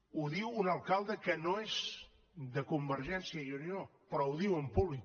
ho diu un alcalde que no és de convergència i unió però ho diu en públic